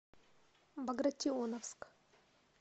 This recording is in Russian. багратионовск